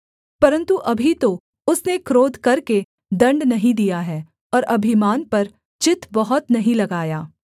परन्तु अभी तो उसने क्रोध करके दण्ड नहीं दिया है और अभिमान पर चित्त बहुत नहीं लगाया